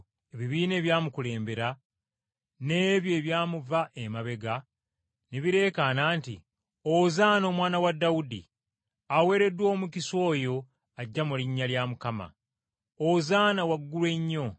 Ebibiina ebyamukulembera, n’ebyo ebyamuva emabega ne bireekaana nti, “Ozaana Omwana wa Dawudi!” “Aweereddwa omukisa oyo ajja mu linnya lya Mukama.” “Ozaana waggulu ennyo!”